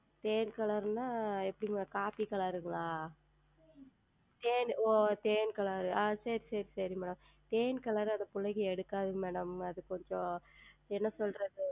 தேன் Color என்றால் எப்படி Coffe Color ஆ ஓ தேன் ஓ சரிங்கள் சரிங்கள் சரிங்கள் Madam தேன் Color அந்த பிள்ளைகள் எடுக்காது Madam அது கொஞ்சம் என்ன சொல்லுவது